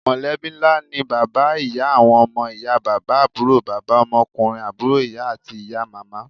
Mọ̀lẹ́bí ńlá ni bàbá, ìyá, àwọn ọmọ, ìyá bàbá, àbúrò bàbà, ọmọkunrin àbúrò ìyá, àti ìyá màmá.